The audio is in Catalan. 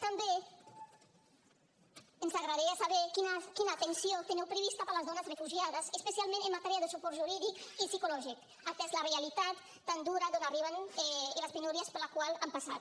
també ens agradaria saber quina atenció teniu prevista per a les dones refugiades especialment en matèria de suport jurídic i psicològic atesa la realitat tan dura d’on arriben i les penúries per les quals han passat